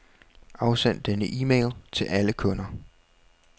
Afsend denne e-mail til alle kunder.